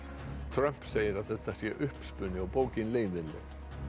Trump segir að þetta sé uppspuni og bókin sé leiðinleg